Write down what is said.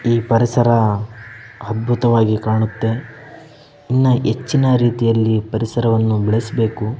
ಈ ಪರಿಸರ ಅದ್ಭುತವಾಗಿ ಕಾಣುತ್ತೆ ಇನ್ನ ಹೆಚ್ಚಿನ ರಿತಿಯಲ್ಲಿ ಪರಿಸರವನ್ನ ಬೆಳಿಸ್ಬೇಕು .